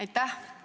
Aitäh!